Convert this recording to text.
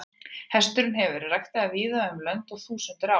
Hesturinn hefur verið ræktaður víða um lönd um þúsundir ára.